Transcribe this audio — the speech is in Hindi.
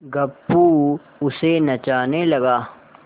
गप्पू उसे नचाने लगा